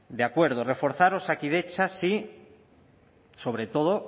de acuerdo reforzar osakidetza sí sobre todo